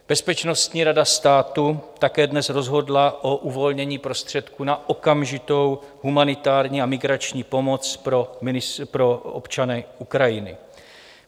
Bezpečnostní rada státu také dnes rozhodla o uvolnění prostředků na okamžitou humanitární a migrační pomoc pro občany Ukrajiny.